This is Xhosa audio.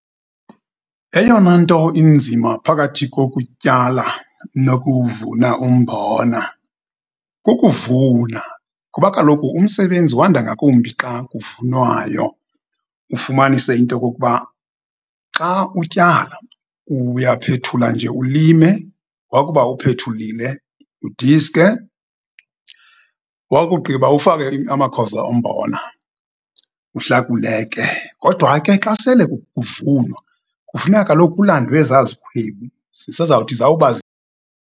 Eyona nto inzima phakathi kokutyala, nokuwuvuna umbona kukuvuna, kuba kaloku umsebenzi wanda ngakumbi xa kuvunwayo. Ufumanise into yokokuba xa utyala uyaphethula nje, ulime, wakube uphethulile udiske, wakugqiba ufake amakhozo ombona, uhlakule ke, kodwa ke xa sele kuvunwa, kufuneka kaloku kulandwe ezazikhwebi, zisezawuthi zawuba.